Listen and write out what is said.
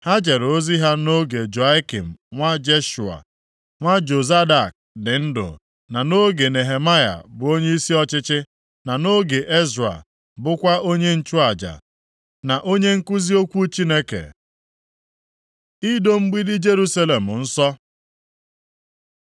Ha jere ozi ha nʼoge Joiakim nwa Jeshua, nwa Jozadak, dị ndụ, na nʼoge Nehemaya bụ onyeisi ọchịchị, na nʼoge Ezra bụkwa onye nchụaja, na onye nkuzi okwu Chineke. Ido mgbidi Jerusalem nsọ